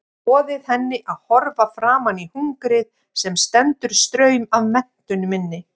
Boðið henni að horfa framan í hungrið sem stendur straum af menntun minni.